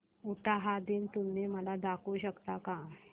उटाहा दिन तुम्ही मला दाखवू शकता का